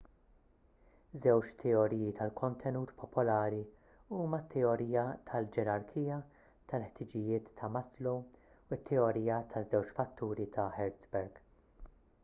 żewġ teoriji tal-kontenut popolari huma t-teorija tal-ġerarkija tal-ħtiġijiet ta' maslow u t-teorija taż-żewġ fatturi ta' hertzberg